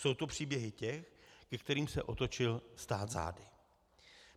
Jsou to příběhy těch, ke kterým se otočil stát zády.